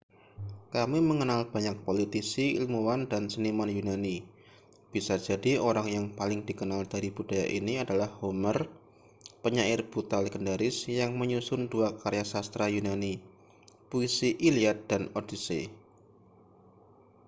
kami mengenal banyak politisi ilmuwan dan seniman yunani bisa jadi orang yang paling dikenal dari budaya ini adalah homer penyair buta legendaris yang menyusun dua karya sastra yunani puisi iliad dan odyssey